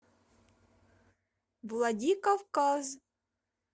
владикавказ